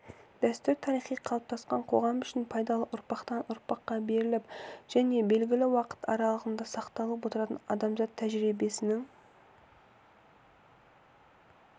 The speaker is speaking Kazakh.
дәстүр тарихи қалыптасқан қоғам үшін пайдалы ұрпақтан-ұрпаққа беріліп және белгілі уақыт аралығында сақталып отыратын адамзат тәжірибесінің